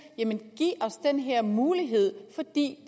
giv os den her mulighed for det